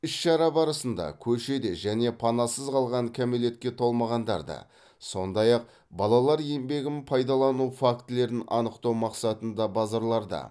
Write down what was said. іс шара барысында көшеде және панасыз қалған кәмелетке толмағандарды сондай ақ балалар еңбегін пайдалану фактілерін анықтау мақсатында базарларда